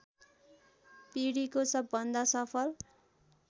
पीढीको सबभन्दा सफल